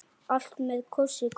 Allt með kossi kveður.